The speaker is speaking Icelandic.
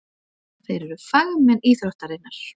Þeir eru fagmenn íþróttarinnar.